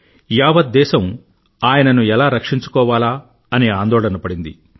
యావత్ దేశం ఆయనను ఎలా రక్షించుకోవాలా అని ఆందోళన పడింది